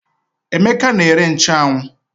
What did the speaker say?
Emeka na-ere nchụ́anwu